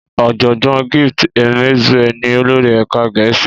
Ọ̀jọ̀gbọ́n Gift Emezue ni olórí ẹ̀ka gẹ̀ẹ́sì